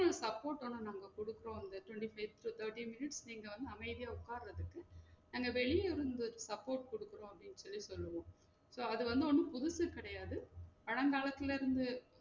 Full Support வந்து உங்களுக்கு குடுக்கோம் அந்த twenty-five thirty minutes நீங்க அமைதியா உக்காறதுக்கு நாங்க வெளிய இருந்து support குடுக்குறோம் அப்டின்னு சொல்லி சொல்லுவோம் so அது வந்து ஒன்னும் புதுசு கெடையாது பழங்காலத்துல இருந்து